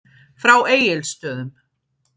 Frá Egilsstöðum.